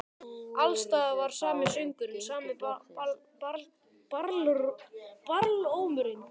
Alls staðar var sami söngurinn, sami barlómurinn.